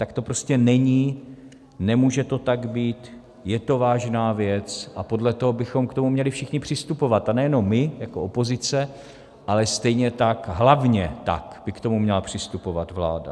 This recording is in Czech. Tak to prostě není, nemůže to tak být, je to vážná věc a podle toho bychom k tomu měli všichni přistupovat, a nejenom my jako opozice, ale stejně tak, hlavně tak, by k tomu měla přistupovat vláda.